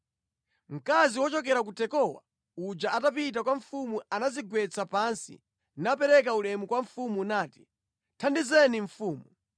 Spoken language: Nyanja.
Mkazi wochokera ku Tekowa uja atapita kwa mfumu anadzigwetsa pansi, napereka ulemu kwa mfumu nati, “Thandizeni mfumu!”